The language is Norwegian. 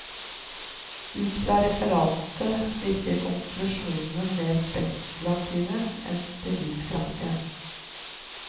Ut fra referatet virker konklusjonene mer spekulative enn beviskraftige.